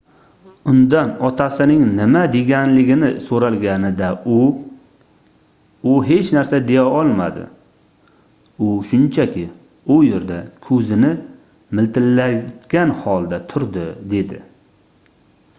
undan otasining nima deganligini soʻralganida u u hech narsa deya olmadi u shunchaki u yerda koʻzini miltillatgan holda turdi dedi